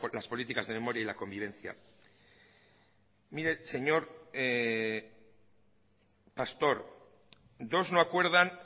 las políticas de memoria y la convivencia mire señor pastor dos no acuerdan